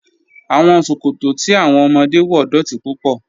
Awọn sọkọtọ̀ tí awọn ọmọdé wọ dọ́ti púpọ̀.